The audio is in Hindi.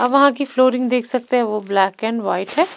आप वहां की फ्लोरिंग देख सकते हैं वो ब्लैक एंड वाइट है।